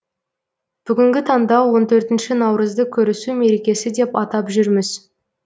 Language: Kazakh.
бүгінгі таңда он төртінші наурызды көрісу мерекесі деп атап жүрміз